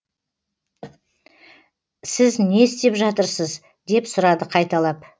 сіз не істеп жатырсыз деп сұрады қайталап